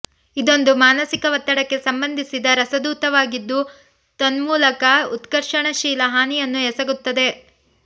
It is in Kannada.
ಇದೊಂದು ಮಾನಸಿಕ ಒತ್ತಡಕ್ಕೆ ಸಂಬಂಧಿಸಿದ ರಸದೂತವಾಗಿದ್ದು ತನ್ಮೂಲಕ ಉತ್ಕರ್ಷಣಶೀಲ ಹಾನಿಯನ್ನು ಎಸಗುತ್ತದೆ